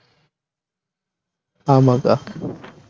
ஆமா அக்கா